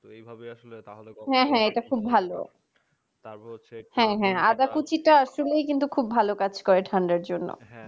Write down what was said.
হ্যাঁ হ্যাঁ এটা খুব ভালো হ্যাঁ হ্যাঁ আদা কুচিটা আসলেই কিন্তু খুব ভালো কাজ করে ঠান্ডার জন্য